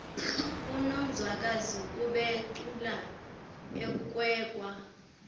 unonzwakazi ubecula ekwekwa